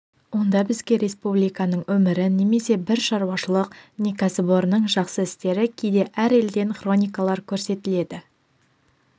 онда бізге республиканың өмірі немесе бір шаруашылық не кәсіпорынның жақсы істері кейде әр елден хроникалар көрсетіледі